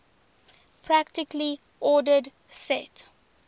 partially ordered set